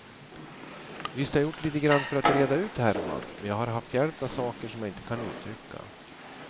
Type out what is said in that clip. Visst har jag gjort litet grand för att reda ut härvan, men jag har haft hjälp av saker som jag inte kan uttrycka.